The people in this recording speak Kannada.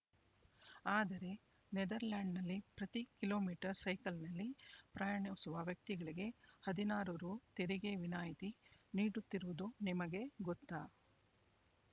ಆದರೆ ನೆದರ್‌ಲ್ಯಾಂಡ್‌ನಲ್ಲಿ ಪ್ರತೀ ಕಿಲೋ ಮೀಟರ್ ಸೈಕಲ್‌ನಲ್ಲಿ ಪ್ರಯಾಣಿಸುವ ವ್ಯಕ್ತಿಗಳಿಗೆ ಹದಿನಾರು ರೂ ತೆರಿಗೆ ವಿನಾಯಿತಿ ನೀಡುತ್ತಿರುವುದು ನಿಮಗೆ ಗೊತ್ತಾ